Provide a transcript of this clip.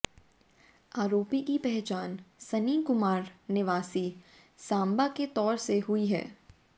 आरोपी की पहचान सन्नी कुमार निवासी सांबा के तौर पर हुई है